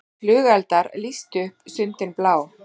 Flugeldar lýstu upp sundin blá